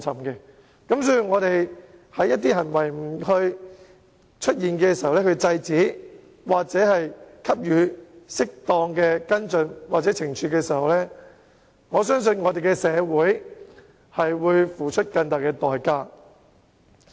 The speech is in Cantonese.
如果本會在出現這類行為時不加以制止，或作出適當的跟進或懲處，我相信社會將要付出更大的代價。